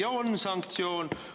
Ja on sanktsioon!